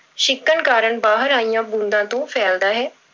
ਛਿੱਕਣ ਕਾਰਨ ਬਾਹਰ ਆਈਆਂ ਬੂੰਦਾਂ ਤੋਂ ਫੈਲਦਾ ਹੈ।